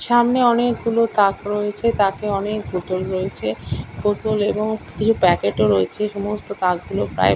সামনে অনেকগুলো তাক রয়েছে তাকে অনেক বোতল রয়েছে বোতল এবং কিছু প্যাকেট ও রয়েছে সমস্ত তাকগুলো প্রায়--